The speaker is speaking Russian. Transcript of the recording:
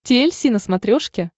ти эль си на смотрешке